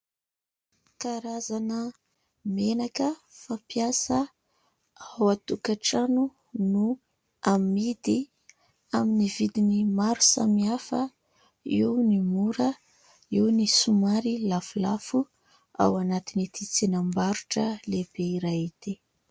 Karazana menaka fampiasa ao an-tokatrano no amidy amin'ny vidiny maro samihafa eo ny mora eo ny somary lafolafo ao anatin'ny tsenam-barotra lehibe iray ity